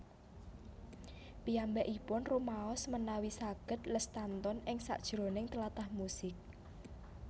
Piyambakipun rumaos menawi saghed lestantun ing sakijroning tlatah musik